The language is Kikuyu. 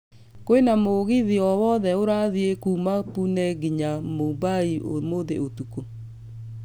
kwina mũgithi owothe ũrathiĩ kuuma Pune nginya Mumbai ũmũthĩ ũtũkũ